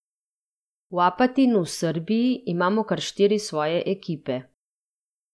V Apatinu v Srbiji imamo kar štiri svoje ekipe.